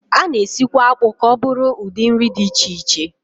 A na-esikwa akpụ ka ọ bụrụ ụdị nri dị iche iche